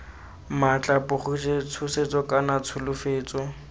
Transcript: maatla pogiso tshosetso kana tsholofetso